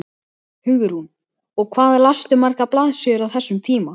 Hugrún: Og hvað lastu margar blaðsíður á þessum tíma?